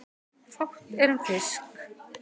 Fátt er um fisk